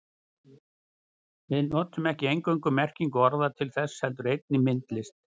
Við notum ekki eingöngu merkingu orða til þess heldur einnig myndlist.